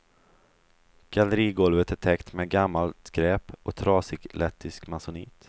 Gallerigolvet är täckt med gammalt skräp och trasig lettisk masonit.